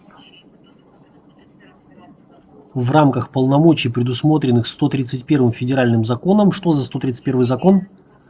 в рамках полномочий предусмотренных сто тридцать первым федеральным законом что за сто тридцать первый закон